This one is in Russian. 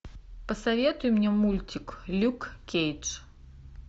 посоветуй мне мультик люк кейдж